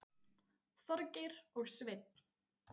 Þorgeir og Sveinn.